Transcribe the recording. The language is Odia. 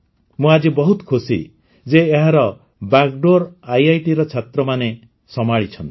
ମୁଁ ଆଜି ବହୁତ ଖୁସି ଯେ ଏହାର ବାଗ୍ଡୋର୍ ଆଇଆଇଟିର ଛାତ୍ରମାନେ ସମ୍ଭାଳିଛନ୍ତି